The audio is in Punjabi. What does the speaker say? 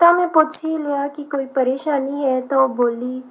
ਤਾਂ ਮੈਂ ਪੁੱਛ ਹੀ ਲਿਆ ਕਿ ਕੋਈ ਪਰੇਸ਼ਾਨੀ ਹੈ ਤੇ ਉਹ ਬੋਲੀ